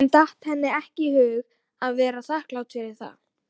En datt henni í hug að vera þakklát fyrir það?